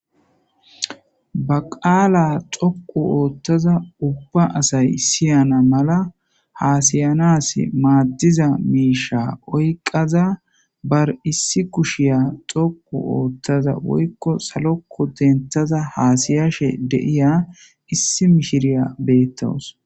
baqaala xoqu oothtaza ubba asay siyana mala haasayanas maaddiza miisha oyqaza bar issi kushiya xoqu oottaza woykko salokko dentaza haasiyashe de'iya issi mishiriya beettawus